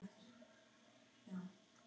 Já, það gerir það.